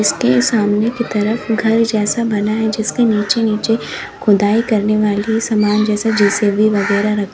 ये सामने की तरफ घर जैसा बना है जिसके नीचे नीचे खुदाई करने वाली सामान जैसे जे_सी_बी वगैरा रखी--